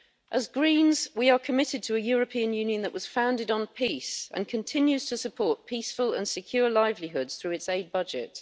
As Greens, we are committed to a European Union that was founded on peace and continues to support peaceful and secure livelihoods through its aid budget.